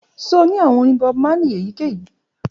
Ṣe o ni awọn orin Bob Marley eyikeyi?